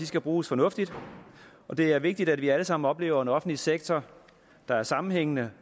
skal bruges fornuftigt og det er vigtigt at vi alle sammen oplever en offentlig sektor der er sammenhængende